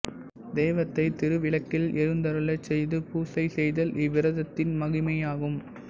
தெய்வத்தைத் திருவிளக்கில் எழுந்தருளச் செய்து பூசை செய்தல் இவ்விரதத்தின் மகிமையாகும்